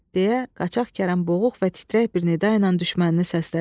– deyə qaçaq Kərəm boğuq və titrək bir nida ilə düşmənini səslədi.